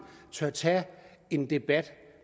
tør tage en debat